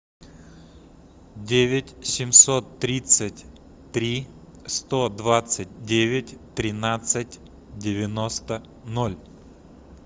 девять семьсот тридцать три сто двадцать девять тринадцать девяносто ноль